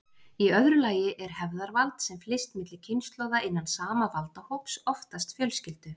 Í öðru lagi er hefðarvald, sem flyst milli kynslóða innan sama valdahóps, oftast fjölskyldu.